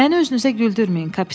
Məni özünüzə güldürməyin!